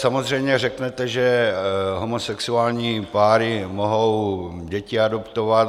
Samozřejmě řeknete, že homosexuální páry mohou děti adoptovat.